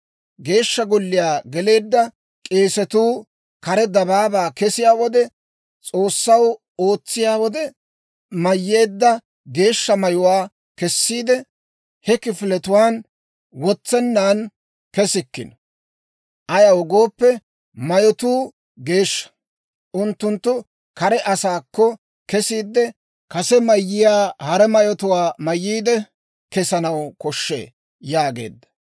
Geeshsha Golliyaa geleedda k'eesatuu kare dabaabaa kesiyaa wode, S'oossaw ootsiyaa wode mayyeedda geeshsha mayuwaa kessiide, he kifiletuwaan wotsennan kesikkino. Ayaw gooppe, mayotuu geeshsha. Unttunttu kare asaakko kesiidde, kase mayiyaa hara mayotuwaa mayyiide kesanaw koshshee» yaageedda.